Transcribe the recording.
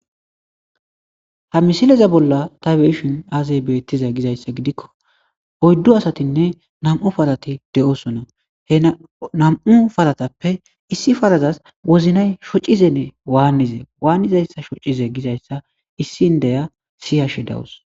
Hamisileza bolla ta be7ishin aaze beetizay gizayssa gidikko nam77u parati de7oosona he nam7u paratappe issi parazas wozinay shocizene waanize waani shocize gizayssa issi indiya siyashe de7awus.